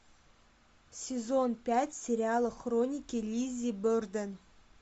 сезон пять сериала хроники лиззи борден